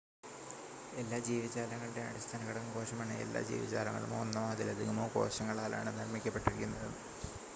എല്ലാ ജീവജാലങ്ങളുടെയും അടിസ്ഥാന ഘടകം കോശമാണ് എല്ലാ ജീവജാലങ്ങളും ഒന്നോ അതിലധികമോ കോശങ്ങളാലാണ് നിർമ്മിക്കപ്പെട്ടിരിക്കുന്നത്